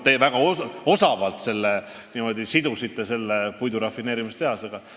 Te väga osavalt sidusite selle puidurafineerimistehase teemaga.